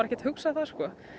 ekkert hugsa það